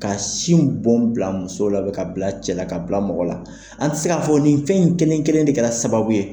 Ka sin bɔn bila muso la , k'a bila cɛla ka bila mɔgɔ la, an tɛ se k'a fɔ nin fɛn in kelen kelen de kɛra sababu ye.